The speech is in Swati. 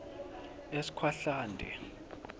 eskhwahlande